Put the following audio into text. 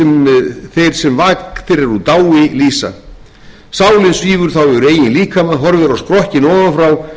í þann mund að hverfa á vit eilífðarinnar og